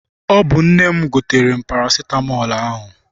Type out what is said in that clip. Ọ bụ nne m gotere m parasitamọl ahụ.